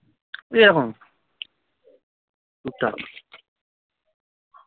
এইরকম টুকটাক